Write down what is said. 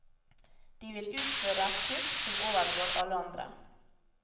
De vil utføre et kupp som overgår alle andre.